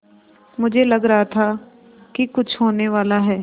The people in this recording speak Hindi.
मुझे लग रहा था कि कुछ होनेवाला है